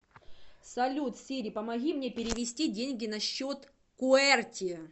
салют сири помоги мне перевести деньги на счет куэрти